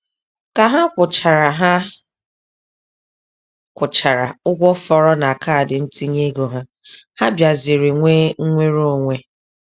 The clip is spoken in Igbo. Ka ha kwụchara ha kwụchara ụgwọ fọrọ na kaadị ntinyeego ha, ha bịaziri nwee nnwereonwe.